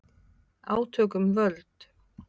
Átök um völd